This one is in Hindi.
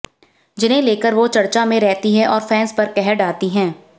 जिन्हें लेकर वो चर्चा में रहती हैं और फैंस पर कहर ढाती हैं